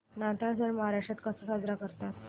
नाताळ सण महाराष्ट्रात कसा साजरा करतात